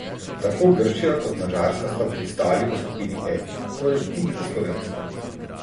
Tako Grčija kot Madžarska sta pristali v skupini F, torej tik za slovensko.